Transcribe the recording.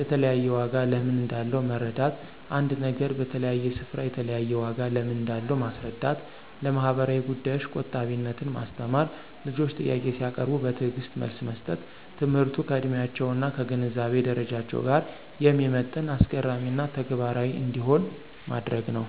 የተለያየ ዋጋ ለምን እንዳለው መረዳት ·አንድ ነገር በተለያየ ስፍራ የተለያየ ዋጋ ለምን እንዳለው ማስረዳት። ለማህበራዊ ጉዳዮች ቆጣቢነትን ማስተማር። ልጆች ጥያቄ ሲያቀርቡ በትዕግስት መልስ መስጠት። ትምህርቱ ከዕድሜያቸው እና ከግንዛቤ ደረጃቸው ጋር የሚመጥን፣ አስገራሚ እና ተግባራዊ እንዲሆን ማድረግ ነው።